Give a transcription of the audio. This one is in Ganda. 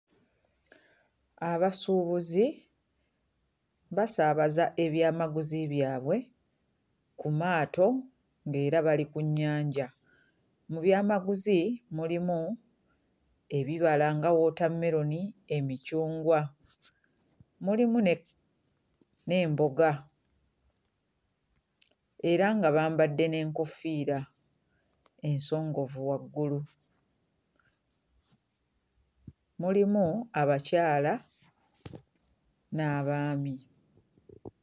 Abasuubuzi basaabaza ebyamaguzi byabwe ku maato ng'era bali ku nnyanja, mu byamaguzi mulimu ebibala nga woota meloni, emicungwa, mulimu ne n'emboga era nga bambadde n'enkoofiira ensongovu waggulu, mulimu abakyala n'abaami.